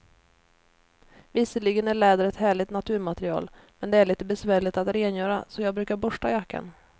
Visserligen är läder ett härligt naturmaterial, men det är lite besvärligt att rengöra, så jag brukar borsta jackan.